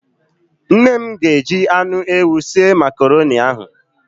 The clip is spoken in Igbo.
Nne m ga-eji anụ ewu sie Makaroni ahụ.